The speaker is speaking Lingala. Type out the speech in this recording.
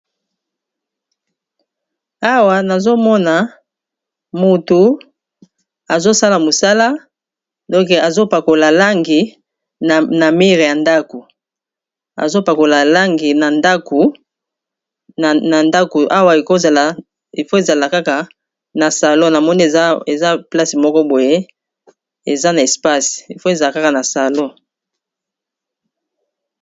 Awa nazo mona moto azo sala mosala donc azo pakola langi na mir ya ndako azo pakola langi na ndako Awa il faut ezala kaka n'a salon namoni place moko boye eza na espace il faut ezala kaka na salon.